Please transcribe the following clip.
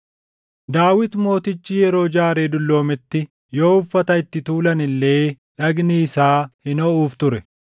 Daawit Mootichi yeroo jaaree dulloometti yoo uffata itti tuulan illee dhagni isaa hin hoʼuuf ture.